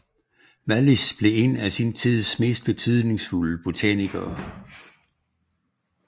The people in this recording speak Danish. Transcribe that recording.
Wallich blev en af sin tids mest betydningsfulde botanikere